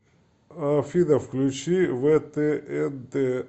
афина включи вэ тэ эн тэ